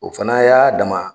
O fana y'a dama